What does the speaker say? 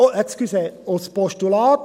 Entschuldigen Sie: als Postulat!